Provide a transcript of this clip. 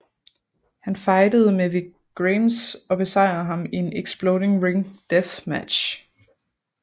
Han fejdede med Vic Grimes og besejrede ham i en Exploding Ring Death Match